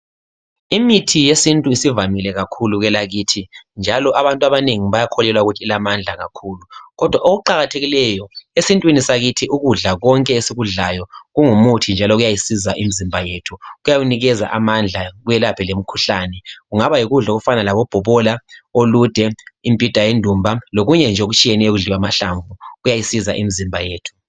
Imithi yesintu isivamile kakhulu kwelakithi njalo abantu abanengi bayakholelwa ukuthi ilamandla kakhulu kodwa okuqakathekileyo esintwini sakithi ukudla konke esikudlayo kungumuthi njalo kuyayisiza imizimba yethu kuyawunikeza amandla kwelaphe lemikhuhlane. Kungaba yikudla okufana labobhobola, olude, imibhida yendumba lokunje nje okutshiyeneyo okudliwa amahlamvu kuyayisiza imizimba yethu.